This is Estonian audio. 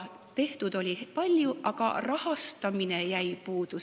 Tehtud oli palju, aga rahastamine jäi puudu.